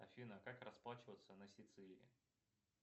афина как расплачиваться на сицилии